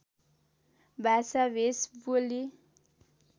भाषा भेष बोली